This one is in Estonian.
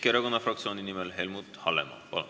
Keskerakonna fraktsiooni nimel Helmut Hallemaa, palun!